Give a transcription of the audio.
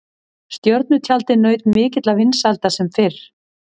Stjörnutjaldið naut mikilla vinsælda sem fyrr.